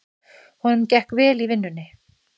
Honum gekk vel í vinnunni.